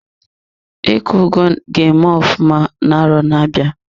Iko ugu ga-eme ofụma na arọ na-abịa?